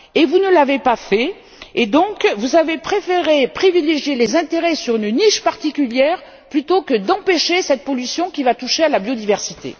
Vous ne l'avez pas fait et vous avez préféré privilégier les intérêts d'une niche particulière plutôt que d'empêcher cette pollution qui va toucher à la biodiversité.